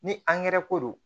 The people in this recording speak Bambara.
Ni angɛrɛ ko don